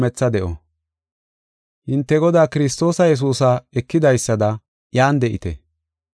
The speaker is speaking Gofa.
Hinte Godaa Kiristoos Yesuusa ekidaysada iyan de7ite.